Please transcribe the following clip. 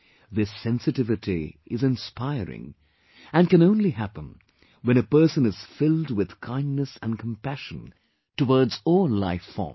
This sensitivity is inspiring and can happen only when a person is filled with kindness and compassion towards all life forms